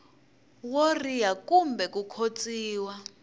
wo riha kumbe ku khotsiwa